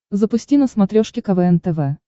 запусти на смотрешке квн тв